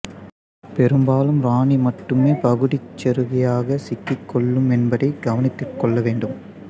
பெரும்பாலும் இராணி மட்டுமே பகுதிச் செருகியாகச் சிக்கிக் கொள்ளும் என்பதை கவனத்திற் கொள்ள வேண்டும்